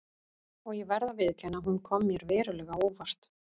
Og ég verð að viðurkenna að hún kom mér verulega á óvart.